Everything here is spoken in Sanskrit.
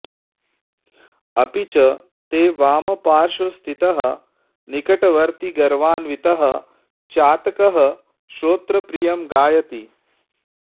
अपि च ते वामपार्श्वस्थितः निकटवर्ती गर्वान्वितः चातकः श्रोत्रप्रियं गायति